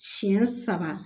Siɲɛ saba